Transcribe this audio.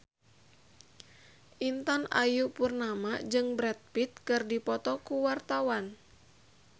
Intan Ayu Purnama jeung Brad Pitt keur dipoto ku wartawan